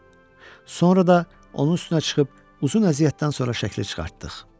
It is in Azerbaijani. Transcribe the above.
Sonra da onun üstünə çıxıb uzun əziyyətdən sonra şəkli çıxartdıq.